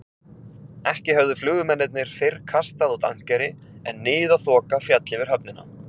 Ekki höfðu flugmennirnir fyrr kastað út ankeri, en niðaþoka féll yfir höfnina.